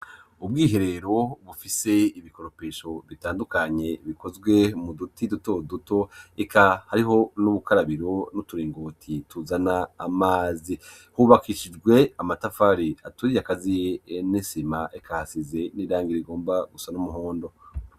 Ubwiherero bufise ibikoropesho bitandukanye bikozwe mu duti duto duto, eka hariho n'ubukarabiro n'uturingoti tuzana amazi, hubakishijwe amatafari aturiye akaziye n'isima eka hasize n'irangi rigomba gusa n'umuhondo.